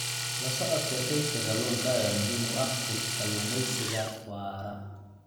La socodka kaydka kalluunka ayaa muhiim u ah kalluumaysiga waara.